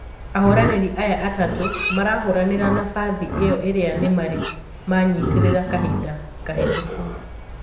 Ahũranirĩ aya atatũ, marahũranira nafathi iyo iria nimari manyitirira kahinda kahitũku.